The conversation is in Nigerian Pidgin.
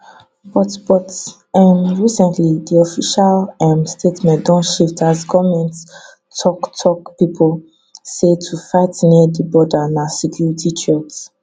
but but um recently di official um statement don shift as goment toktok pipo say to fight near di border na security threat